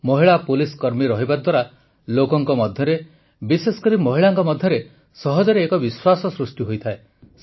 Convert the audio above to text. ମହିଳା ପୁଲିସ କର୍ମୀ ରହିବା ଦ୍ୱାରା ଲୋକଙ୍କ ମଧ୍ୟରେ ବିଶେଷକରି ମହିଳାଙ୍କ ମଧ୍ୟରେ ସହଜରେ ଏକ ବିଶ୍ୱାସ ସୃଷ୍ଟି ହୋଇଥାଏ